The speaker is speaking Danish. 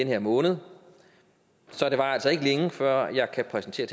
her måned så det varer altså ikke længe før jeg kan præsentere